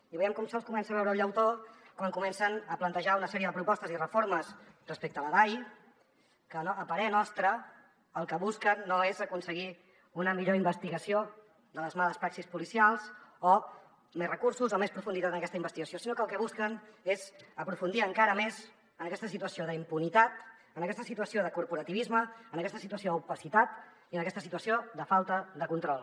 i veiem com se’ls comença a veure el llautó quan comencen a plantejar una sèrie de propostes i reformes respecte a la dai que a parer nostre el que busquen no és aconseguir una millor investigació de les males praxis policials o més recursos o més profunditat en aquesta investigació sinó que el que busquen és aprofundir encara més en aquesta situació d’impunitat en aquesta situació de corporativisme en aquesta situació d’opacitat i en aquesta situació de falta de control